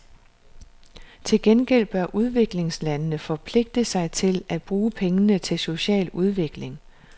Til gengæld bør udviklingslandene forpligte sig til at bruge pengene til social udvikling.